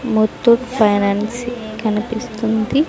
ముతూట్ ఫైనాన్స్ కనిపిస్తుంది.